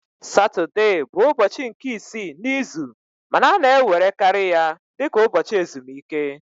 Satọde bụ ụbọchị nke isii n'izu ma a na-ewerekarị ya dị ka ụbọchị ezumike